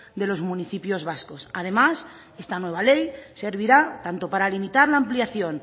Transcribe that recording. de los municipios vascos además esta nueva ley servirá tanto para limitar la ampliación